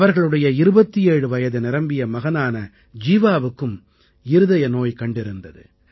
அவர்களுடைய 27 வயது நிரம்பிய மகனான ஜீவாவுக்கும் இருதய நோய் கண்டிருந்தது